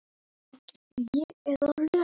Þannig er hans góða fólk.